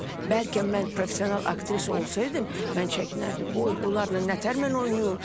Bəlkə mən professional aktrisa olsaydım, mən çəkinərdim, vay, bunlarla nətər mən oynayım?